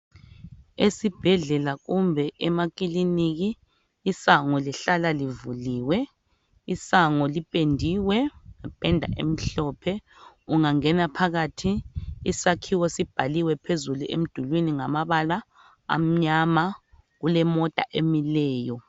Esibhedlela kumbe emakilinika isango lihlala livuliwe, isango lipendiwe ngependa emhlophe. Ungangena phakathi, isakhiwo sibhaliwe emdulwini ngamabala amnyama. Kulemota emileyo.